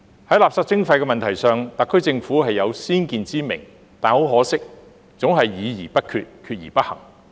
在垃圾徵費的問題上，特區政府是有先見之明，但可惜總是議而不決，決而不行。